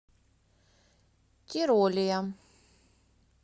тиролия